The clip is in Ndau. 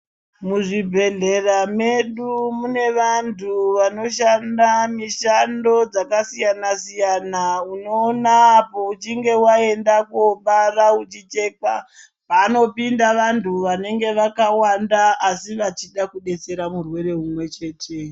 Muzvibhedhlera medu mune vantu vanoshanda mushando dzakasiyana siyana unoona apo uchinge waenda kobara uchichekwa vanopinda vantu vanenge vakawanda asi vachida kudetsera murwere umwe chete.